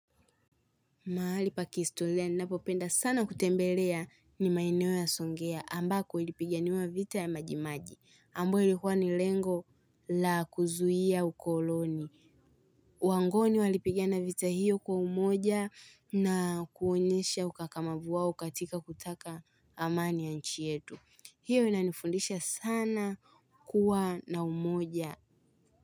Mahali pa kihistoria ninapopenda sana kutembelea ni maeneo ya songea ambako ilipiga niwa vita ya majimaji. Ambayo ilikuwa ni lengo la kuzuia ukoloni. Wangoni walipigina vita hiyo kwa umoja na kuonyesha ukakamavu wao katika kutaka amani ya nchi yetu. Hiyo inanifundisha sana kuwa na umoja.